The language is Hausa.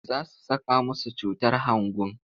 Za su saka musu cutar hangun.